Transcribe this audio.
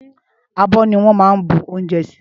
Ábò niwòn mà n bú óunjè si